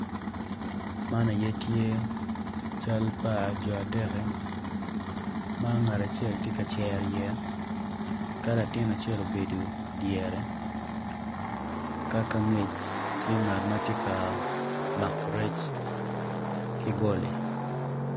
Man aye tye cal pa jo adeki ma angat acel ti kacero yeya ka latin acel obedo idyere ka ka angec tye ngat ma tye ka mako rec ki goli